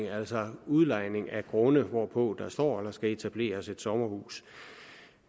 altså udlejning af grunde hvorpå der står eller skal etableres et sommerhus